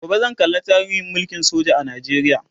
gobe zan kalla tarihin mulkin soja a Najeriya